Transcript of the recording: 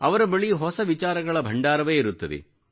ಅವರ ಬಳಿ ಹೊಸ ವಿಚಾರಗಳ ಭಂಡಾರವೇ ಇರುತ್ತದೆ